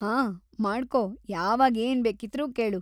ಹಾಂ ಮಾಡ್ಕೋ, ಯಾವಾಗ್‌ ಏನ್ ಬೇಕಿದ್ರೂ ಕೇಳು!